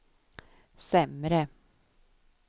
sämre